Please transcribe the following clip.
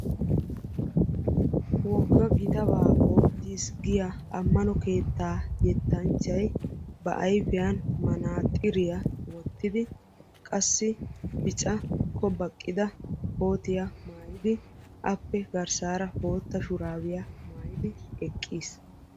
wogga gitta baa ootiisi giyaa yetta yexxiyaa na'ay ba ayfiyani manaxiriya wottidi qassi zo"ana ekkiyaa kootiya maayidi garssarakka bootta shurabiyaa maayidi eqqiisi.